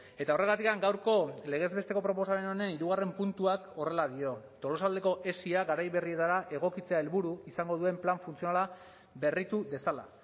eta horregatik gaurko legez besteko proposamen honen hirugarren puntuak horrela dio tolosaldeko esia garai berrietara egokitzea helburu izango duen plan funtzionala berritu dezala